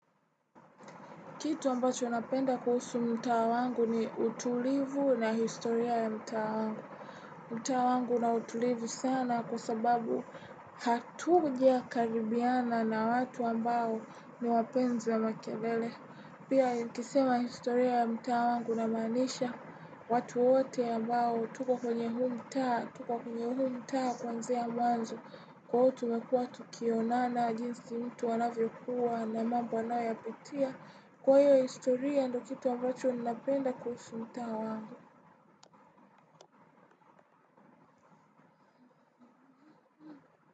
Kitu ambacho napenda kuhusu mtaa wangu ni utulivu na historia ya mtaa wangu. Mtaa wangu una utulivu sana kwa sababu hatujakaribiana na watu ambao ni wapenzi ya makelele. Pia nikisema historia ya mtaa wangu namaanisha, watu wote ambao, tuko kwenye huu mtaa, tuko kwenye huu mtaa kwanzia mwanzo. Kwa uo tumekua tukionana jinsi mtu anavyokuwa na mambo anayoyapitia. Kwa iyo historia ndo kitu ambacho ninapenda kuhusu mtaa wangu.